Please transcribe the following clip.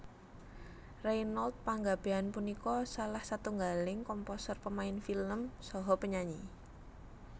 Reynold Panggabean punika salah setunggaling komposer pemain film saha penyanyi